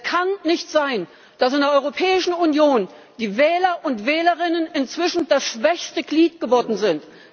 Es kann nicht sein, dass in der Europäischen Union die Wähler und Wählerinnen inzwischen das schwächste Glied geworden sind.